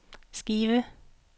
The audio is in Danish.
Skive